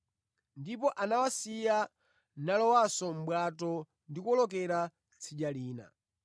Ndipo anawasiya, nalowanso mʼbwato ndi kuwolokera tsidya lina.